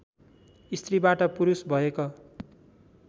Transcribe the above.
स्त्रीबाट पुरुष भएक